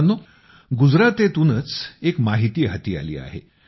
मित्रांनो गुजरातेतूनच एक माहिती हाती आली आहे